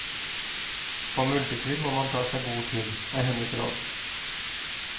På multetur må man ta seg god tid, er hennes råd.